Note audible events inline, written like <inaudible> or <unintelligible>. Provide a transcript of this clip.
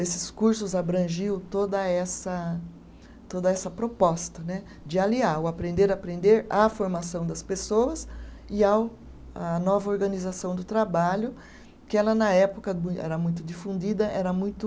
Esses cursos abrangiam toda essa, toda essa proposta né, de aliar o aprender a aprender à formação das pessoas e ao à nova organização do trabalho, que ela na época <unintelligible> era muito difundida, era muito.